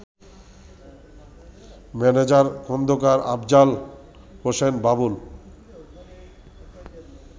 manager Khandakar Afzal Hossain Babul